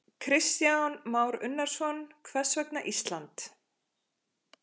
Kristján Már Unnarsson: Hvers vegna Ísland?